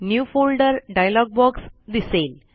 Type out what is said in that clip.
new folder dialog box दिसेल